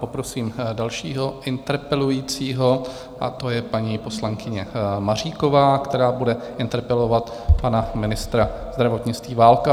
Poprosím dalšího interpelujícího, a to je paní poslankyně Maříková, která bude interpelovat pana ministra zdravotnictví Válka.